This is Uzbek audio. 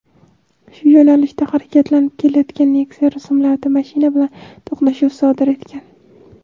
shu yo‘nalishda harakatlanib kelayotgan Nexia rusumli avtomashina bilan to‘qnashuv sodir etgan.